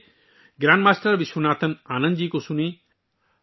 آئیے، grandmaster Viswanathan Anand ji کو سنیں